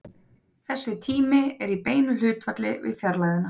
Þessi tími er í beinu hlutfalli við fjarlægðina.